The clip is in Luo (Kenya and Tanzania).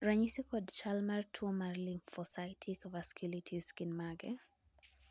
ranyisi kod chal mar tuo mar Lymphocytic vasculitis gin mage?